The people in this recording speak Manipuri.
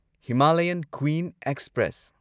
Himalayan Queen express